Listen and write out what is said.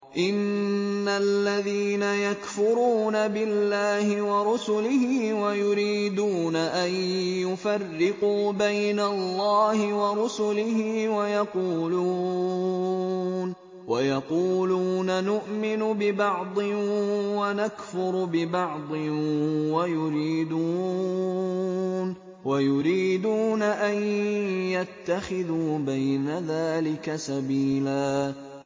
إِنَّ الَّذِينَ يَكْفُرُونَ بِاللَّهِ وَرُسُلِهِ وَيُرِيدُونَ أَن يُفَرِّقُوا بَيْنَ اللَّهِ وَرُسُلِهِ وَيَقُولُونَ نُؤْمِنُ بِبَعْضٍ وَنَكْفُرُ بِبَعْضٍ وَيُرِيدُونَ أَن يَتَّخِذُوا بَيْنَ ذَٰلِكَ سَبِيلًا